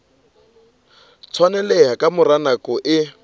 tshwaneleha ka mora nako e